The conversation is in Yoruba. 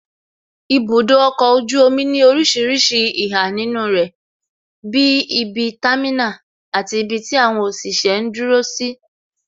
Ibudo ọkọ̀ ojú omi ní orísìírísìí ìhà nínú rẹ bí ibi támínà, àti ibi tí àwọn òṣìṣẹ́ ń dúró sí